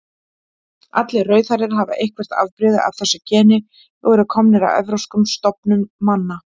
Allir rauðhærðir hafa eitthvert afbrigði af þessu geni og eru komnir af evrópskum stofnum manna.